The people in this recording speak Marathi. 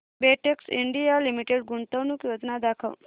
बेटेक्स इंडिया लिमिटेड गुंतवणूक योजना दाखव